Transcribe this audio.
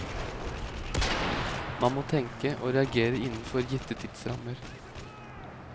Man må tenke og reagere innenfor gitte tidsrammer.